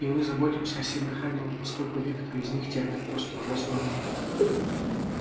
и мы заботимся о семьях раненых поскольку некоторые из них терпят просто ужасную нужду